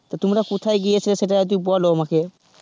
তা তোমরা কোথায় গিয়েছিলে সেটা যদি বোলো আমাকে,